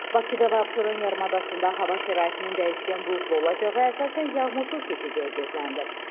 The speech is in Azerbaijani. Bakıda və Abşeron yarımadasında hava şəraitinin dəyişkən buludlu olacağı, əsasən yağmursuz keçəcəyi gözlənilir.